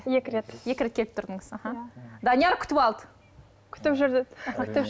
екі рет екі рет келіп тұрдыңыз аха данияр күтіп алды күтіп жүрді күтіп